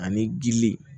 Ani gili